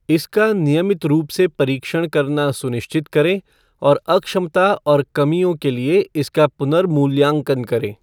इसका नियमित रूप से परीक्षण करना सुनिश्चित करें और अक्षमता और कमियों के लिए इसका पुनर्मूल्यांकन करें।